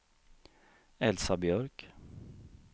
Elsa Björk